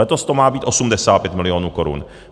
Letos to má být 85 milionů korun.